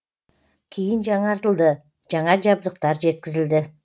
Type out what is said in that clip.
кейін жаңартылды жаңа жабдықтар жеткізілді